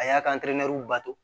A y'a ka bato